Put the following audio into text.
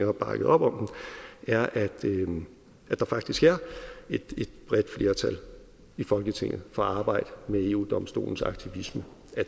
har bakket op om det er at der faktisk er et bredt flertal i folketinget for at arbejde med eu domstolens aktivisme